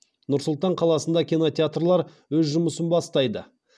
нұр сұлтан қаласында кинотеатрлар өз жұмысын бастайды